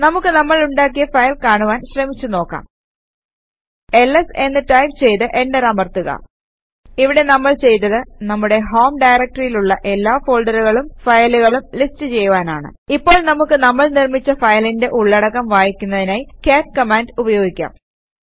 നമുക്ക് നമ്മൾ ഉണ്ടാക്കിയ ഫയൽ കാണുവാൻ ശ്രമിച്ചു നോക്കാം എൽഎസ് എന്ന് ടൈപ് ചെയ്ത് എന്റർ അമർത്തുക ഇവിടെ നമ്മൾ ചെയ്തത് നമ്മുടെ ഹോം ഡയറക്ടറിയിലുള്ള എല്ലാ ഫോൾഡറുകളും ഫയലുകളും ലിസ്റ്റ് ചെയ്യുവാനാണ് ഇപ്പോൾ നമുക്ക് നമ്മൾ നിർമിച്ച ഫയലിന്റെ ഉള്ളടക്കം വായിക്കുന്നതിനായി കാട്ട് കമാൻഡ് ഉപയോഗിക്കാം